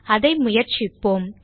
அதை முயற்சிப்போம்